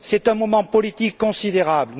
C'est un moment politique considérable.